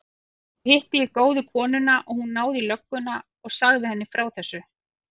Svo hitti ég góðu konuna og hún náði í lögguna og sagði henni frá þessu.